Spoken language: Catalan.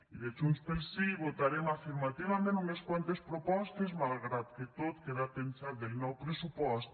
i de junts pel sí votarem afirmativament unes quantes propostes malgrat que tot queda penjat del nou pressupost